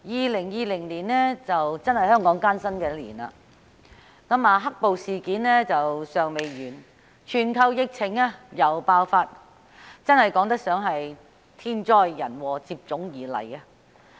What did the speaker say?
主席 ，2020 年的確是香港艱辛的一年，"黑暴"事件尚未完結，全球又爆發疫情，可謂天災人禍接踵而來。